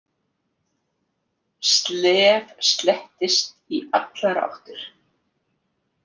Slef slettist í allar áttir.